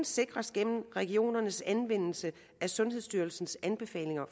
sikres gennem regionernes anvendelse af sundhedsstyrelsens anbefalinger